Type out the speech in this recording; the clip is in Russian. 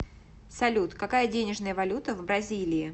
салют какая денежная валюта в бразилии